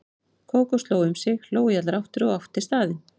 Kókó sló um sig, hló í allar áttir og átti staðinn.